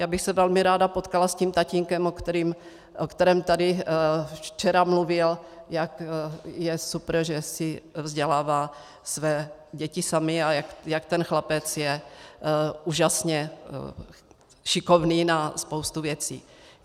Já bych se velmi ráda potkala s tím tatínkem, o kterém tady včera mluvil, jak je super, že si vzdělávají své děti sami, a jak ten chlapec je úžasně šikovný na spoustu věcí.